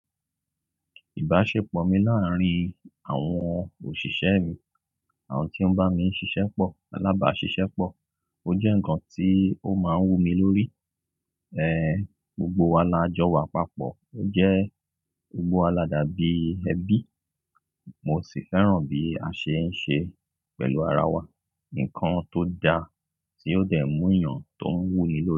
Ìbáṣepọ̀ mi láàárín àwọn òṣìṣẹ́ mi, àwọn tí ó ń bá mi ṣiṣẹ́ pọ̀, alábàáṣiṣẹ́ pọ̀. O jẹ́ ǹkan tí ó máa ń wù mí lórí. Ehn, gbogbo wa la jọ wà papọ̀, o jẹ́ gbogbo wa la dàbí ẹbí. Mo sì fẹ́ràn bí a ṣe ń ṣe pẹ̀lú ara wa. Ǹkan tó dà tí óò dẹ̀ mú ènìyàn tó ń wú nílé.